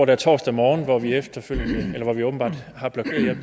der torsdag morgen hvor vi åbenbart har blokeret